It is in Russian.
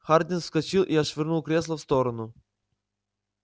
хардин вскочил и отшвырнул кресло в сторону